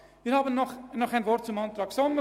Noch ein Wort zum Antrag Sommer: